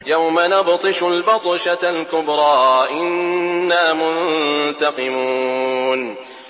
يَوْمَ نَبْطِشُ الْبَطْشَةَ الْكُبْرَىٰ إِنَّا مُنتَقِمُونَ